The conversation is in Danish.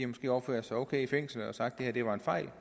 måske opført sig okay i fængslet og sagt at det var en fejl